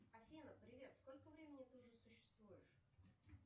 афина привет сколько времени ты уже существуешь